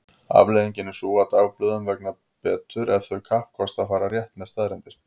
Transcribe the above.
Afleiðingin er sú að dagblöðum vegnar betur ef þau kappkosta að fara rétt með staðreyndir.